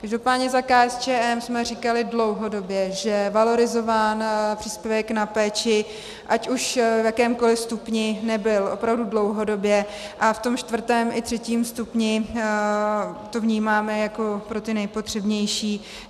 Každopádně za KSČM jsme říkali dlouhodobě, že valorizován příspěvek na péči ať už v jakémkoli stupni nebyl opravdu dlouhodobě, a v tom čtvrtém i třetím stupni to vnímáme jako pro ty nejpotřebnější.